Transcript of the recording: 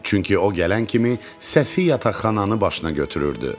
Çünki o gələn kimi səsi yataqxananı başına götürürdü.